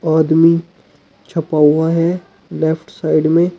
आदमी छपा हुआ है लेफ्ट साइड में।